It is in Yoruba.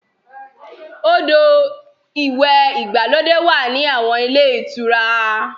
Odò ìwẹ̀ ìgbàlódé wà ní àwọn ilé ìtura.